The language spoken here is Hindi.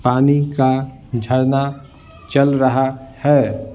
पानी का झरना चल रहा है।